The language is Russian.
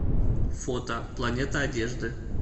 фото планета одежды